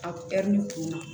A ɛri kunna